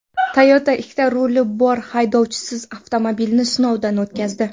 Toyota ikkita ruli bor haydovchisiz avtomobilni sinovdan o‘tkazdi .